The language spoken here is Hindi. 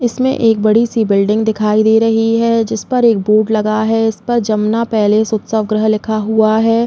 इसमें एक बड़ी सी बिल्डिंग दिखाई दे रही है जिस पर एक बोर्ड लगा है इस पर जमुना पैलेस उत्सव ग्रह लिखा हुआ है।